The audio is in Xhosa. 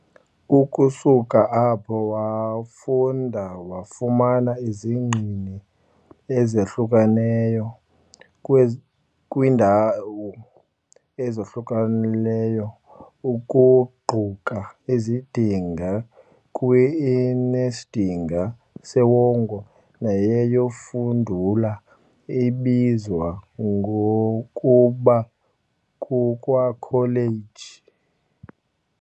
Ukusuka apho, wafunda wafumana izingqini ezahlukeneyo kwezi kwiindawo ezohlukeneyo ukuquka isidanga kwi, i, nesidinga sewonga neyayifudula ibizwa ngokuba kukwakholeji.